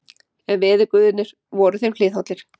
En veðurguðirnir voru þeim hliðhollir.